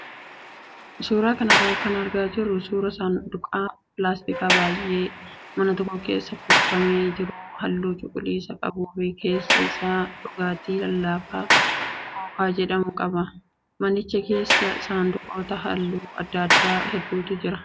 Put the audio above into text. Suuraa kanarraa kan argaa jirru suuraa saanduqa pilaastikaa baay'ee mana tokko keessa kuufamee jiru halluu cuquliisa qabuu fi keessa isaa dhugaatii lallaafaa kookaa jedhamu qaba. Manicha keessa saanduqoota halluu adda addaa hedduutu jira.